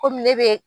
Komi ne be